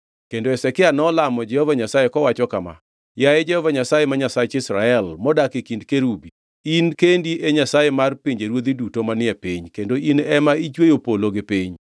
Kendo Hezekia nolamo Jehova Nyasaye kowacho kama: “Yaye Jehova Nyasaye, ma Nyasach Israel, modak e kind kerubi, in kendi e Nyasaye mar pinjeruodhi duto manie piny, kendo in ema ne ichweyo polo gi piny.